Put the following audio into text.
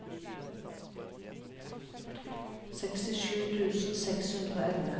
sekstisju tusen seks hundre og elleve